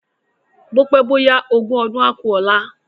Bópé bóyá ogún ọdún á ku ọ̀la